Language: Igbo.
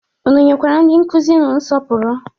Unu nyekwara ndị nkụzi unu nsọpụrụ?